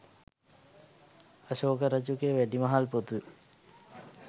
අශෝක රජුගේ වැඩිමහල් පුතු